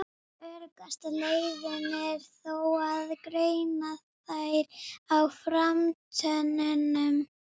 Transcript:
Allt salt sem menn nota er komið frá náttúrunni með tiltölulega einföldum hætti.